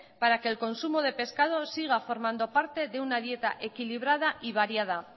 para que el consumo de pescados siga formando parte de una dieta equilibrada y variada